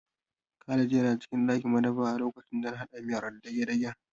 Khalid yana cikin madafa a lokacin da na haɗa miyar dagedagen